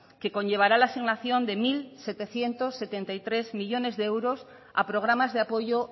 que conllevará la asignación de mil setecientos setenta y tres millónes de euros a programas de apoyo